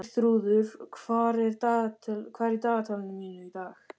Geirþrúður, hvað er í dagatalinu mínu í dag?